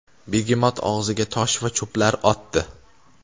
begemot og‘ziga tosh va cho‘plar otdi.